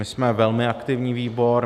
My jsme velmi aktivní výbor.